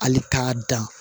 Hali k'a dan